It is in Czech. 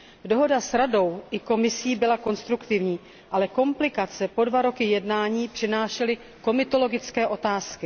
Dohoda s Radou i Komisí byla konstruktivní, ale komplikace po dva roky jednání přinášely komitologické otázky.